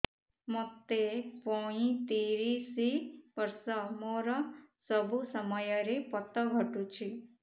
ମୋତେ ପଇଂତିରିଶ ବର୍ଷ ମୋର ସବୁ ସମୟରେ ପତ ଘଟୁଛି